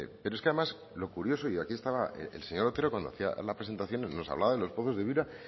pero es que además lo curioso y aquí está el señor otero cuando hacía la presentación nos hablaba de los pozos de